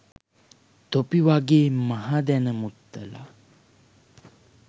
තොපි වගේ මහදැන මුත්තල.